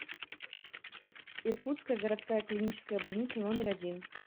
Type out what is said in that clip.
иркутская городская клиническая больница номер один